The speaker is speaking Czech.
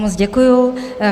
Moc děkuji.